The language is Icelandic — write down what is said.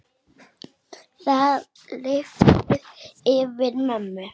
Það lifnaði yfir mömmu.